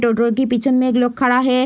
टोटो के पीछे में एक लोग खड़ा है।